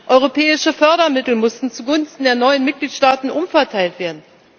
Europäische Fördermittel mussten zugunsten der neuen Mitgliedstaaten umverteilt werden.